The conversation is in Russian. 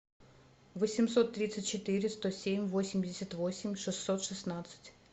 восемьсот тридцать четыре сто семь восемьдесят восемь шестьсот шестнадцать